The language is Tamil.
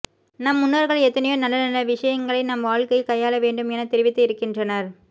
நம் முன்னோர்கள் எத்தனையோ நல்ல நல்ல விஷயங்களை நாம் வாழ்கையில் கையாள வேண்டும் என தெரிவித்து இருகின்றனர்